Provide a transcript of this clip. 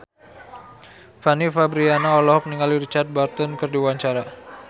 Fanny Fabriana olohok ningali Richard Burton keur diwawancara